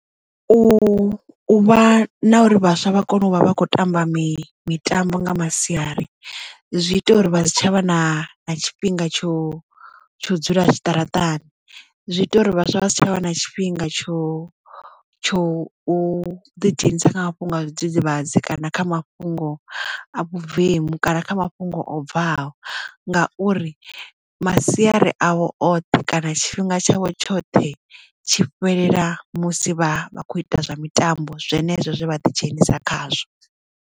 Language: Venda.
U vha na uri vhaswa vha kone u vha vha kho tamba mitambo nga masiari zwi ita uri vha si tshavha na tshifhinga tsho tsho dzula zwiṱaraṱani zwi ita uri vhaswa vha si tshavha na tshifhinga tsho tsho u ḓi dzhenisa kha mafhungo a zwidzidzivhadzi kana kha mafhungo a vhuvemu kana kha mafhungo o bvaho ngauri masiari avho oṱhe kana tshifhinga tshavho tshoṱhe tshi fhelela musi vha vha kho ita zwa mitambo zwenezwo zwe vha ḓi dzhenisa khazwo.